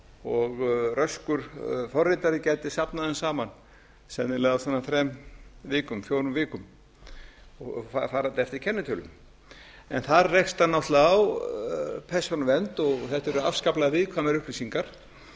og röskur forritari gæti safnað þeim saman sennilega á svona þrem fjórum vikum varðandi eftir kennitölum þar rekst hann náttúrlega á persónuvernd og þetta eru afskaplega viðkvæmar upplýsingar